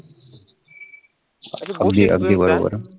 अगदी अगदी बरोबर